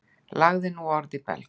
Lagði nú orð í belg.